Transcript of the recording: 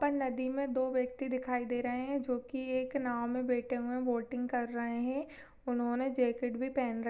ऊपर नदी मे दो व्यक्ति दिखाई दे रहे है जो की एक नाव मे बैठे हुए है बोटिंग कर रहे है उन्होंने जेकिट भी पहन र--